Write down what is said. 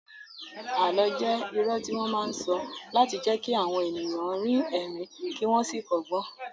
Àlọ́ jẹ́ irọ́ tí wọ́n máa ń sọ láti jẹ́ kí àwọn ènìyàn rín ẹ̀rín kí wọ́n sì kọ́gbọ́n